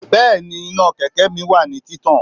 Bẹ́ẹ̀ni, iná kẹ̀kẹ́ mi wà ní títàn